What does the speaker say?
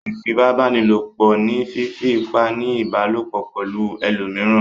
Ìfipábánilòpọ̀ ni fífí ipá ní ìbálòpọ̀ pẹ̀lú ẹlòmíràn.